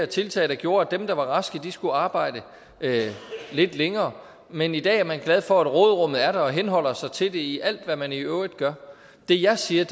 tiltag der gjorde at dem der var raske skulle arbejde lidt længere men i dag er man glad for at råderummet er der og man henholder sig til det i alt hvad man i øvrigt gør det jeg siger